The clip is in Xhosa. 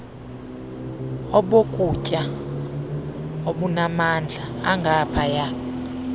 obokutya obunamandla angaphaya